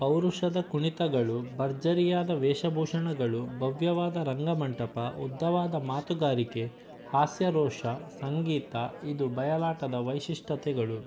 ಪೌರುಷದ ಕುಣಿತಗಳು ಭರ್ಜರಿಯಾದ ವೇಷಭೂಷಣಗಳು ಭವ್ಯವಾದ ರಂಗಮಂಟಪ ಉದ್ದವಾದ ಮಾತುಗಾರಿಕೆ ಹಾಸ್ಯ ರೋಷ ಸಂಗೀತ ಇದು ಬಯಲಾಟದ ವೈಶಿಷ್ಠತೆಗಳು